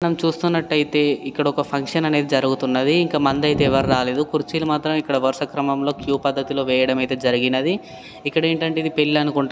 మనం చూస్తున్నటైతే ఇక్కడ ఫంక్షన్ అనేది జరుగుతున్నది ఇంకా మంద అయితే ఎవ్వరూ రాలేదు కుర్చీలు మాత్రం ఇక్కడ వరుస క్రమం లో క్యూ పద్దతి లో వేయడం అయితే జరిగినది ఇక్కడ ఏంటంటే పెళ్ళి అనుకుంట --